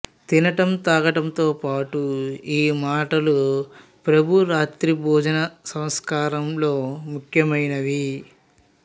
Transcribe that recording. తినటం త్రాగటంతో పాటు ఈ మాటలు ప్రభురాత్రి భోజన సంస్కారంలో ముఖ్యమైనవి